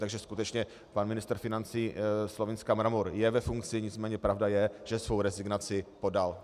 Takže skutečně pan ministr financí Slovinska Mramor je ve funkci, nicméně pravda je, že svou rezignaci podal.